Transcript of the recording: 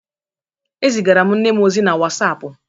É zigara m nne m ozi na wasapụ.